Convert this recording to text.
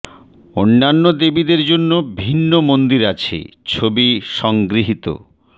অন্যান্য দেবীদের জন্য ভিন্ন মন্দির আছে ছবি সংগৃহীত